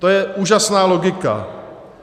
To je úžasná logika.